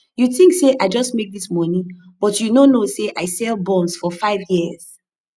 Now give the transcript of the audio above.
you think say i just make dis money but you no know say i sell buns for five years